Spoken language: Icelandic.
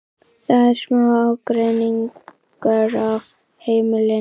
Það er smá ágreiningur á heimilinu.